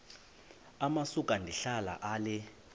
amasuka ndihlala ale